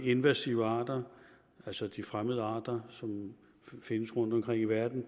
invasive arter altså fremmede arter som findes rundtomkring i verden